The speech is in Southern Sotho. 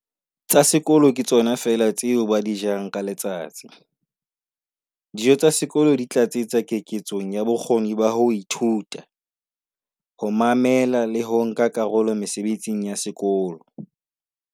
"tsa sekolo ke tsona feela tseo ba di jang ka letsatsi. Dijo tsa sekolo di tlatsetsa keketsong ya bokgoni ba ho ithuta, ho mamela le ho nka karolo mesebetsing ya sekolo".